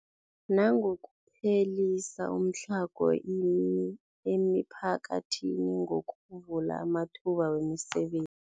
Nangokuphelisa umtlhago emiphakathini ngokuvula amathuba wemiseben